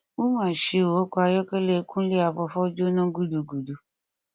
ó ma ṣe ọkọ ayọkẹlẹ kúnlé àfọfọ jóná gúdugùru